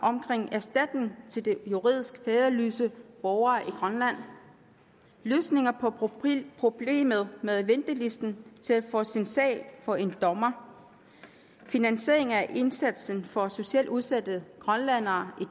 i til de juridisk faderløse borgere i grønland løsninger på problemet med ventelisten til at få sin sag for en dommer finansiering af indsatsen for socialt udsatte grønlændere i